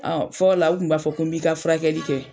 Ɔ fɔ la o kun b'a fɔ ko bi ka furakɛli kɛ.